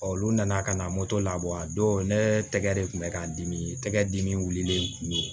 olu nana ka na moto labɔ a don ne tɛgɛ de kun bɛ ka dimi tɛgɛ dimi wulilen tun don